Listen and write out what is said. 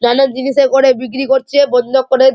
নানা জিনিসে করে বিক্রি করছে বন্ধ করে।